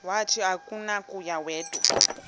wathi akunakuya wedw